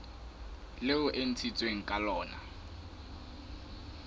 leo e ntshitsweng ka lona